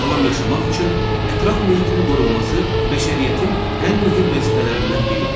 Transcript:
Sağlam yaşamaq üçün ətraf mühitin qorunması bəşəriyyətin ən mühüm vəzifələrindən biridir.